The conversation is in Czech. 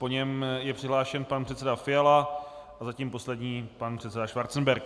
Po něm je přihlášen pan předseda Fiala a zatím poslední pan předseda Schwarzenberg.